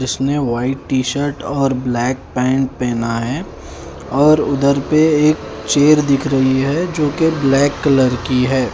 जिसने white T shirt और black pant पहना है और उधर पे एक चेर दिख रही है जोकि ब्लैक कलर की है।